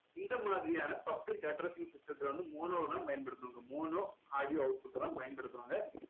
இந்த மாதிரியான public addressing system த்துல வந்து mono வ தான் பயன்படுத்துவாங்க mono audio output அ தான் பயன்படுத்துவாங்க